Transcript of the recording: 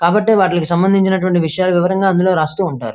కాబట్టి వాటికి సంబందించిన విషయాలను వివరంగా రాస్తూ ఉంటారు.